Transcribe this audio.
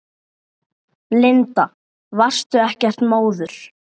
Linda: Varstu ekkert móður?